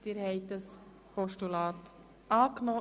Sie haben das Postulat angenommen.